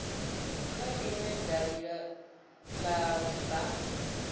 kha inwe davhi la bannga